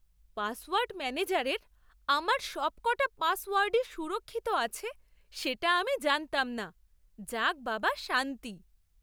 Password ম্যানেজারের আমার সবক'টা পাসওয়ার্ডই সুরক্ষিত আছে সেটা আমি জানতাম না। যাক বাবা, শান্তি!